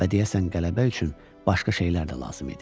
Və deyəsən qələbə üçün başqa şeylər də lazım idi.